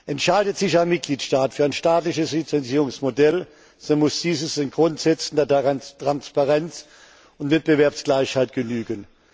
Entscheidet sich ein Mitgliedstaat für ein staatliches Lizenzierungsmodell, so muss dieses den Grundsätzen der Transparenz und Wettbewerbsgleichheit genügen.